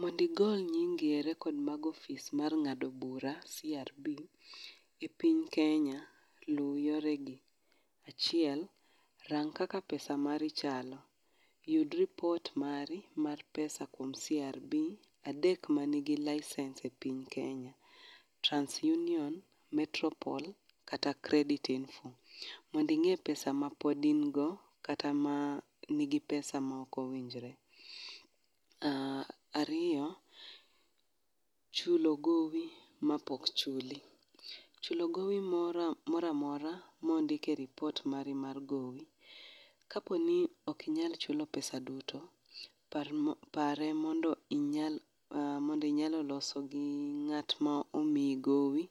Mondo igol nyingi e rekod mag ofis mar ng'ado bura, CRB e piny Kenya, lu yoregi. Achiel, rang kaka pesa mari chalo, yud ripot mari mar pesa kuom CRB adek mani gi l licence e piny Kenya. Trans Union, Metro Pol, kata Credit Info. Mondo ing'e pesa mapod in go, kata ma nigi pesa maok owinjore. Ariyo chulo gowi mapok ochul. Chulo gowi moro amora mondiki e repot mari mar gowi kaponi ok inyal chulo pesa duto par pare mondo inyal mondo inyalo loso gi ng'at ma omiyi gowi